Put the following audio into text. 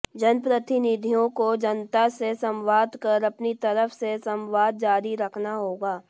जनप्रतिनिधियों को जनता से संवाद कर अपनी तरफ से संवाद जारी रखना होगा